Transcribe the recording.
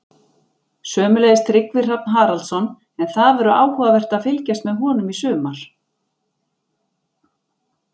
Sömuleiðis Tryggvi Hrafn Haraldsson, en það verður áhugavert að fylgjast með honum í sumar.